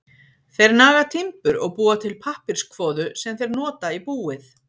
Þeir naga timbur og búa til pappírskvoðu sem þeir nota í búið.